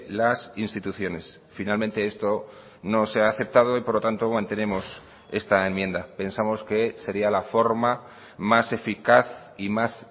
las instituciones finalmente esto no se ha aceptado y por lo tanto mantenemos esta enmienda pensamos que sería la forma más eficaz y más